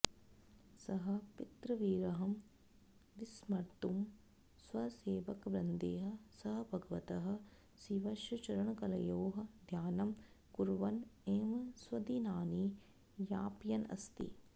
सः पितृविरहं विस्मर्तुं स्वसेवकवृन्दैः सह भगवतः शिवस्य चरणकलयोः ध्यानं कुर्वन् एव स्वदिनानि यापयन् अस्ति